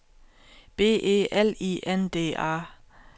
B E L I N D A